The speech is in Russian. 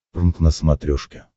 прнк на смотрешке